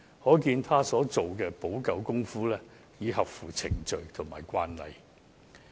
可見她所作出的補救，已合乎程序及慣例。